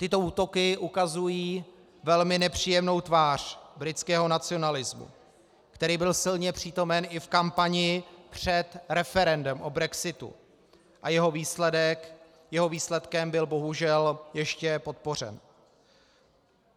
Tyto útoky ukazují velmi nepříjemnou tvář britského nacionalismu, který byl silně přítomen i v kampani před referendem o brexitu a jeho výsledkem byl bohužel ještě podpořen.